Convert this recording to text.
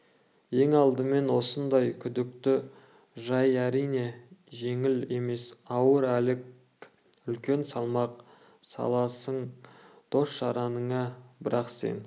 ең алдымен осындай күдікті жай әрине жеңіл емес ауыр әлек үлкен салмақ саласың дос-жараныңа бірақ сен